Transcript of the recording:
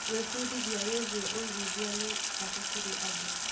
Gwĩbundithia wĩgiĩ ũigithia nĩ bata kũrĩ andũ.